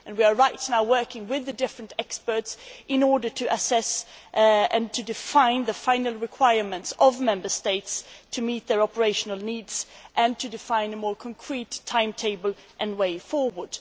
Right now, we are working with the different experts in order to assess and to define the final requirements of Member States to meet their operational needs and to define a more concrete timetable and way forward.